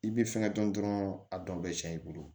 I bɛ fɛngɛ dɔn dɔrɔn a dɔn bɛ cɛn i bolo